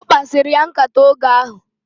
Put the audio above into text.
Okpasiri ya nkata oge ahu